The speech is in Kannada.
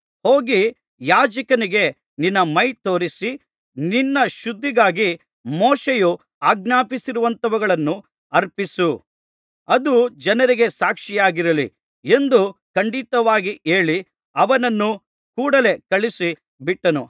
ಹೋಗಿ ಯಾಜಕನಿಗೆ ನಿನ್ನ ಮೈ ತೋರಿಸಿ ನಿನ್ನ ಶುದ್ಧಿಗಾಗಿ ಮೋಶೆಯು ಆಜ್ಞಾಪಿಸಿರುವಂಥವುಗಳನ್ನು ಅರ್ಪಿಸು ಅದು ಜನರಿಗೆ ಸಾಕ್ಷಿಯಾಗಿರಲಿ ಎಂದು ಖಂಡಿತವಾಗಿ ಹೇಳಿ ಅವನನ್ನು ಕೂಡಲೆ ಕಳುಹಿಸಿ ಬಿಟ್ಟನು